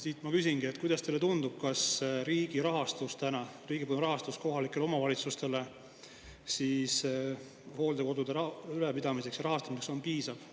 Siit ma küsingi, kuidas teile tundub, kas riigi rahastus täna kohalikele omavalitsustele hooldekodude ülalpidamiseks ja rahastamiseks on piisav.